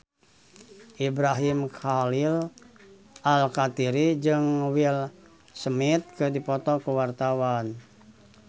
Ibrahim Khalil Alkatiri jeung Will Smith keur dipoto ku wartawan